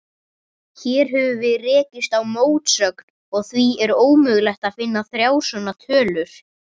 Hér höfum við rekist á mótsögn, og því er ómögulegt að finna þrjár svona tölur.